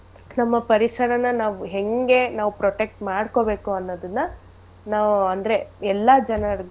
ನಮ್ಮ ಪರಿಸರನ ನಾವು ಹೆಂಗೆ ನಾವ್ protect ಮಾಡ್ಕೊಬೇಕು ಅನ್ನದನ್ನ ನಾವು ಅಂದ್ರೆ ಎಲ್ಲಾ ಜನರ್ಗೂ.